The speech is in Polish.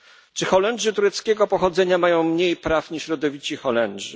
Czy Holendrzy tureckiego pochodzenia mają mniej praw niż rodowici Holendrzy?